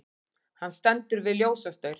Hann stendur við ljósastaur.